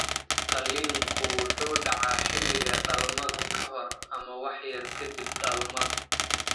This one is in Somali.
Qalliinku wuxuu dhacaa xilliga dhalmada ka hor ama wax yar ka dib dhalmada.